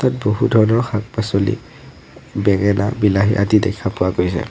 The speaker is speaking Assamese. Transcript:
ইয়াত বহু ধৰণৰ শাক পাছলি বেঙেনা বিলাহী আদি দেখা পোৱা গৈছে।